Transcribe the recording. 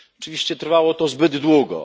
Oczywiście trwało to zbyt długo.